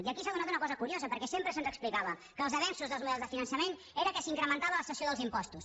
i aquí s’ha donat una cosa curiosa perquè sempre se’ns explicava que els avenços dels models de finançament era que s’incrementava la cessió dels impostos